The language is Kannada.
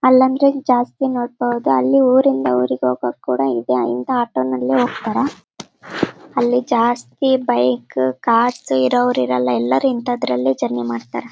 ಅಲ್ಲಾಂದ್ರೆ ಜಾಸ್ತಿ ನೋಬ್ಬಹುದು ಅಲ್ಲಿ ಊರಿಂದ ಊರಿಗೆ ಹೋಗುವವರು ಕೂಡ ಇಂತ ಆಟೊನಲ್ಲಿ ಹೋಗ್ತಾರಾ ಅಲ್ಲಿ ಜಾಸ್ತಿ ಬೈಕ್ ಕಾರ್ಸ್ ಇರೋರ್ ಇರೋಲ್ಲ ಎಲ್ಲರು ಇಂತದ್ರಲ್ಲಿ ಜರ್ನಿ ಮಾಡ್ತಾರಾ.